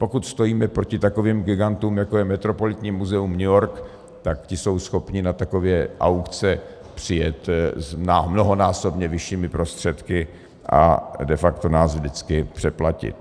Pokud stojíme proti takovým gigantům, jako je Metropolitní muzeum New York, tak ti jsou schopni na takové aukce přijet s mnohonásobně vyššími prostředky a de facto nás vždycky přeplatit.